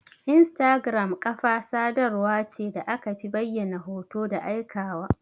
Instagram Ƙafa sadarwa ce da akafi bayyana hoto da aika wa.